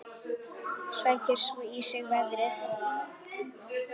Sækir svo í sig veðrið.